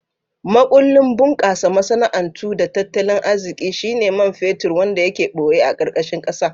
Makullin bunkasa masana'antu da tattalin arziki shine man fetur wanda yake boye a karkashin kasa.